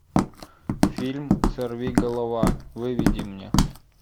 фильм сорви голова выведи мне